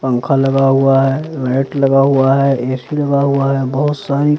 पंखा लगा हुआ है लाइट लगा हुआ है ए_सी लगा हुआ है बहोत सारी।